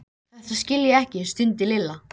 Þetta skil ég ekki stundi Lilla.